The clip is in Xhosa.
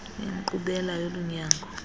inkqubela yolu nyango